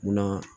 Munna